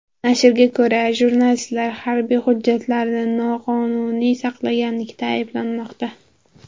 Nashrga ko‘ra, jurnalistlar harbiy hujjatlarni noqonuniy saqlaganlikda ayblanmoqda.